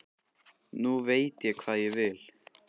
Nú veit ég hvað ég vil.